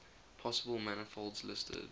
possible manifolds listed